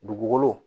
Dugukolo